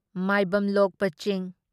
ꯃꯥꯢꯕꯝ ꯂꯣꯛꯄ ꯆꯤꯡ